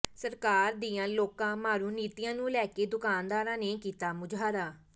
ਸਰਕਾਰ ਦੀਆਂ ਲੋਕ ਮਾਰੂ ਨੀਤੀਆਂ ਨੂੰ ਲੈ ਕੇ ਦੁਕਾਨਦਾਰਾਂ ਨੇ ਕੀਤਾ ਮੁਜ਼ਾਹਰਾ